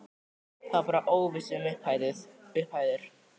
Það var bara óvissa um upphæðir?